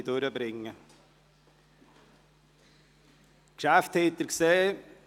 Sie haben die Geschäfte gesehen.